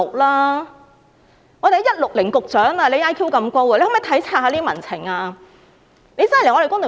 "IQ 160局長"，你的 IQ 這麼高，可否體察民情呢？